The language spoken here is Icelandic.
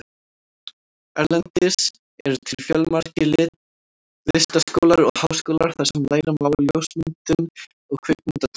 Erlendis eru til fjölmargir listaskólar og háskólar þar sem læra má ljósmyndun og kvikmyndatökur.